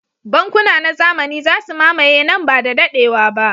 Bankuna na zamani za su mamaye nan ba da daɗewa ba.